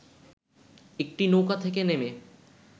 একটি নৌকা থেকে নেমে